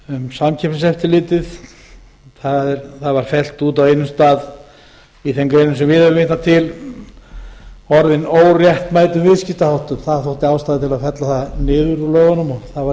samkeppniseftirlitið það var fellt út á einum stað í þeim greinum sem við höfum vitnað til orðin óréttmætur viðskiptaháttum það þótti ástæða til að fella það niður úr lögunum og það var